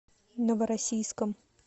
новороссийском